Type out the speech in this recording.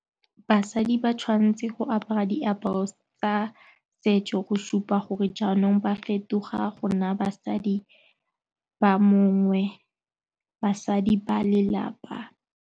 Basadi ba tshwanetse go apara di tsa setso go supa gore jaanong ba fetoga go nna basadi ba mongwe basadi ba lelapa.